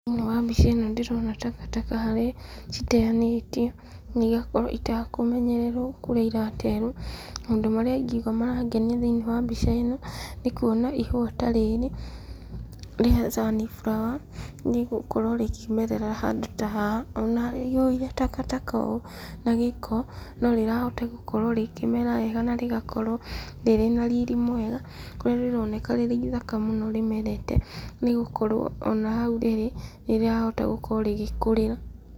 Thĩinĩ wa mbica ĩno ndĩrona takataka harĩa citeanĩtio na igakorwo itakũmenyererwo kũrĩa iraterwo. Maũndũ marĩa ingiuga marangenia thĩinĩ wa mbica ĩno, nĩ kuona ihũa ta rĩrĩ rĩa sunflower nĩ gũkorwo rĩkĩmerera handũ ta haha. Ona haihũire takataka ũũ na gĩko, no rĩrahota gũkorwo rĩkĩmera wega na rĩgakorwo rĩrĩ na riri mwega, kũrĩa rĩroneka rĩrĩ ithaka mũno rĩmerete nĩ gũkorwo ona hau rĩrĩ, nĩ rĩrahota gũkorwo rĩgĩkũrĩra.